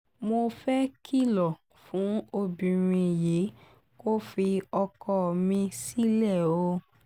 mo fẹ́ẹ́ kìlọ̀ fún obìnrin yìí kó fi ọkọ mi sílẹ̀ o